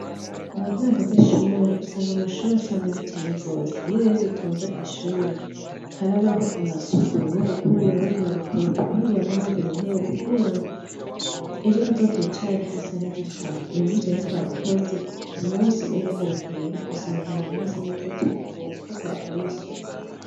Mu ntango zishure usanga amashure asa nabi cane gose, iyo rero dutonze kwishure harabaho amasuku bamwe bagakubura abandi bagakoropa abandi bagahanagura intebe kugirango ejo tuzokwicare hasa neza cane, uwu munsi rero twabikoze Ku munsi w'ejo aho bukera dusanga ahantu hasa neza cane gose kuko twahakoreye isuku.